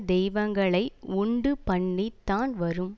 தெய்வங்களை உண்டுபண்ணித் தான் வரும்